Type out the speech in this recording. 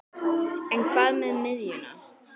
En hvað með miðjuna?